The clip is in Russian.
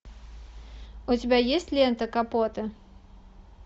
у тебя есть лента капота